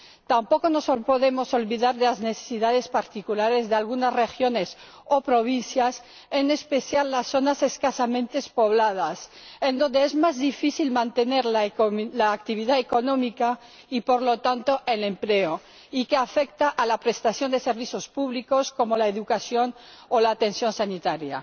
Tampoco nos podemos olvidar de las necesidades particulares de algunas regiones o provincias, en especial de las zonas escasamente pobladas en las que es más difícil mantener la actividad económica y, por lo tanto, el empleo, lo que afecta a la prestación de servicios públicos como la educación o la atención sanitaria.